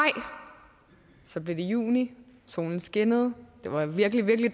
så blev det juni solen skinnede det var virkelig virkelig